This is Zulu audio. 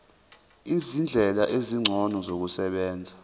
izindlela ezingcono zokusebenza